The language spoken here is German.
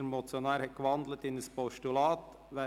Der Motionär hat in ein Postulat gewandelt.